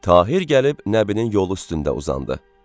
Tahir gəlib Nəbinin yolu üstündə uzandı.